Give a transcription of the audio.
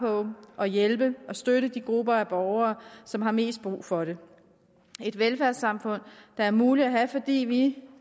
på at hjælpe og støtte de grupper af borgere som har mest brug for det et velfærdssamfund der er muligt at have fordi vi